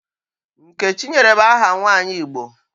Nkechinyere bụ aha nwaanyị Igbo